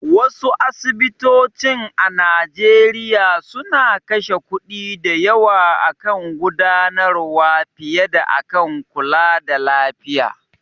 Wasu asibitocin a Nigeria suna kashe kuɗi da yawa akan gudanarwa fiye da akan kulada lafiya.